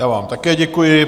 Já vám také děkuji.